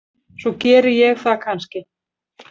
Svo geri ég það kannski.